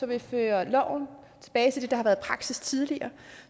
vi fører loven tilbage til det der har været praksis tidligere